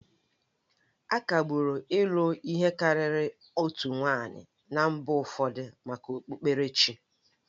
Akagbụrụ ịlụ ihe karịrị otu nwanyị na mba ụfọdụ maka okpukperechi